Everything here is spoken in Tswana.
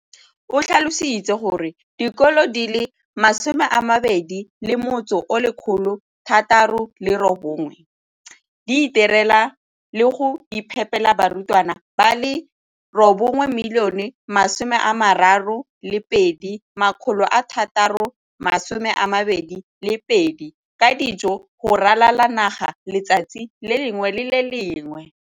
O tlhalositse gore dikolo di le 20 619 di itirela le go iphepela barutwana ba le 9 032 622 ka dijo go ralala naga letsatsi le lengwe le le lengwe.